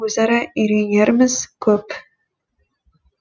өзара үйренеріміз көп